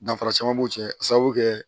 Danfara caman b'u cɛ a sababu kɛ